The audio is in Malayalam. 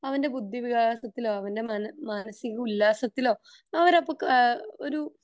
അവന്റെ ബുദ്ധിവികാസത്തിലോ അവന്റെ മാനസിക ഉല്ലാസത്തിലോ അവരപ്പോ ഏഹ്ഹ് ഒരു